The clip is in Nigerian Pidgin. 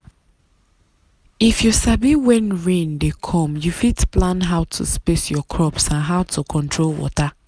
if you sabi when rain dey come you fit plan how to space your crops and how to control water.